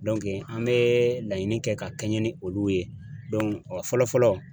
an bɛ laɲini kɛ ka kɛɲɛ ni olu ye fɔlɔfɔlɔ